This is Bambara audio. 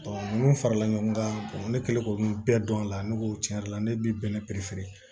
ninnu farala ɲɔgɔn kan ne kɛlen k'olu bɛɛ dɔn a la ne ko tiɲɛ yɛrɛ la ne bɛ bɛnɛ